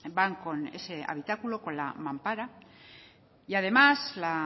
van con ese habitáculo con la mampara y además la